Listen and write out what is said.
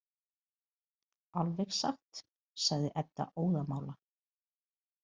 Alveg satt, sagði Edda óðamála.